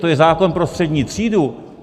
To je zákon pro střední třídu!